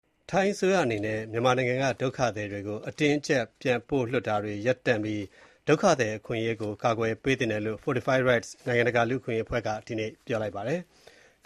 ထိုင်းအစိုးရအနေနဲ့ မြန်မာနိုင်ငံက ဒုက္ခသည်တွေကို အတင်းအကြပ်ပြန်လွှတ်တာတွေ ရပ်တန့်ပြီး ဒုက္ခသည်အခွင့်အရေးကို ကာကွယ်ပေးသင့်တယ်လို့ Fortify Rights နိုင်ငံတကာလူ့အခွင့်အရေးအဖွဲ့က ဒီနေ့ ပြောလိုက်ပါတယ်။